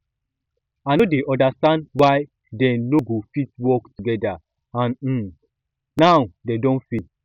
i no dey understand why dey no go fit work together and um now dey don fail